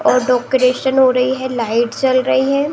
और डोकरेशन हो रही है। लाइट जल रही है।